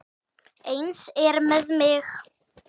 Eins er með mig.